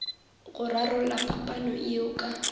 go rarolla phapano yeo ka